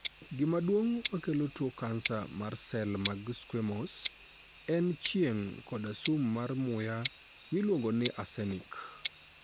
Gima duong' makelo tuo kansa mar sel mag squamous en chieng' koda sum mar muya miluongo ni arsenic.